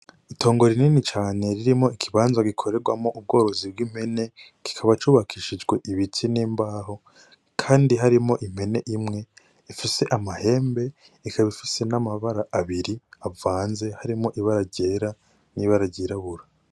Itongo rinini cane ririmwo ikibanza gikoregwamwo ubworozi bw'impene kikaba cubakishijwe ibiti n' imbaho kandi harimwo impene imwe ifise amahembe ikaba ifise n' amabara abiri avanze harimwo ibara ryera n' ibara ryirabura.